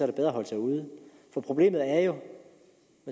er bedre at holde sig ude for problemet er jo